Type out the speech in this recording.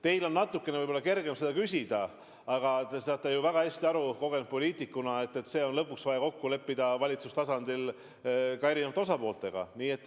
Teil on võib-olla natuke kergem seda küsida, aga te saate ju kogenud poliitikuna väga hästi aru, et see on vaja valitsustasandil kokku leppida ka erinevate osapooltega.